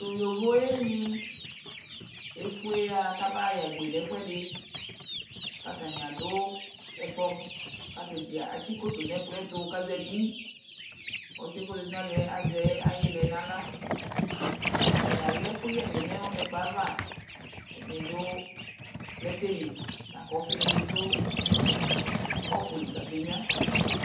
tʋ yɔvɔɛ ni, ɛƒʋɛ ya kʋ abayɛ agbè nʋ ɛƒʋɛdi kʋ atani adʋ ɛkplɔ kʋ ataniatikɔtɔ nʋ ɛkplɔɛ tʋ kʋ azati, ɔsiiɛ kʋ ɔzati nʋ alɔɛ azɛ ilɛ nʋ ala kʋ atani alɛ ɛkʋyɛ ni nʋ ɛkplɔɛ aɣa, ɛdini dʋ plɛtɛ li ,lakʋ ɔƒii dini bi dʋ cʋpʋ likʋ abɛ nyʋa